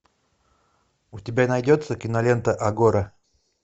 у тебя найдется кинолента агора